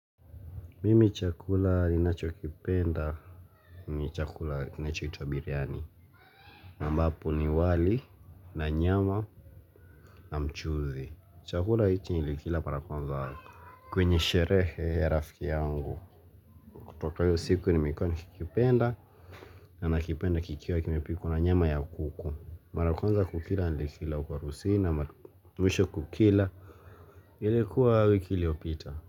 Mimi chakula ni nacho kipenda ni chakula kinacho itwa biryani. Na ambapo ni wali na nyama na mchuzi chakula ichi nilikila marakwanza kwenye sherehe ya rafki yangu. Kutoka iyo siku ni mekuwa nikikipenda na nakipenda kikiwa kimepikwa na nyama ya kuku Marakwanza kukila nilikila kwarusini na mwisho kukila. Ile kuwa wiki iliopita.